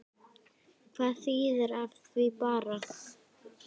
Hvað þýðir af því bara?